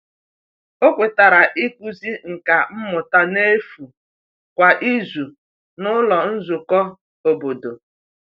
O kwetara ịkụzi nka mmụta n’efu kwa izu n’ụlọ nzukọ obodo.